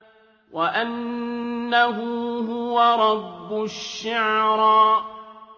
وَأَنَّهُ هُوَ رَبُّ الشِّعْرَىٰ